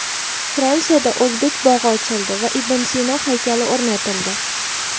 Fransiyada o‘zbek bog‘i ochildi va ibn Sino haykali o‘rnatildi.